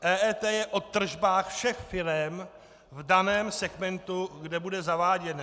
EET je o tržbách všech firem v daném segmentu, kde bude zaváděné.